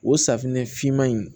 O safunɛ finman in